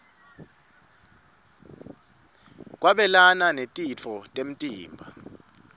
kwabelana netitfo temtimba